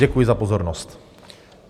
Děkuji za pozornost.